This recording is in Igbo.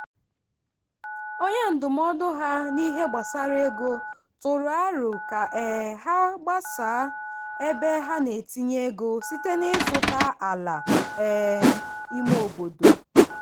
onye ndụmọdụ ha n'ihe gbasara ego tụrụ aro ka um ha gbasaa ebe ha na-etinye ego site n'ịzụta ala um ime obodo.